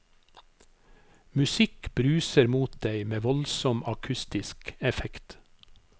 Musikk bruser mot deg med voldsom akustisk effekt.